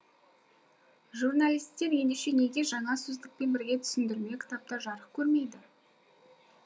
журналистер ендеше неге жаңа сөздікпен бірге түсіндерме кітаптар жарық көрмейді